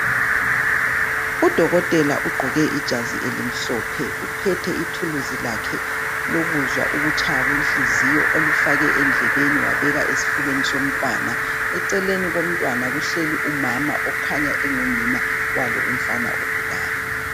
Udokotela ugqoke ijazi elimhlophe uphethe ithulusi lakhe lokuzwa ukutshaya kwenhliziyo olufake endlebeni wabeka esifubeni somntwana. Eceleni komntwana kuhleli umama okhanya engunina wali umfana ogulayo.